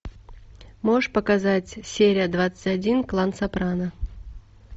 можешь показать серия двадцать один клан сопрано